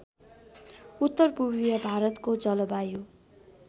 उत्तरपूर्वीय भारतको जलवायु